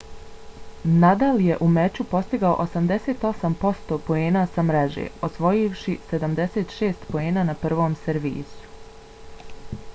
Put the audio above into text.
nadal je u meču postigao 88% poena sa mreže osvojivši 76 poena na prvom servisu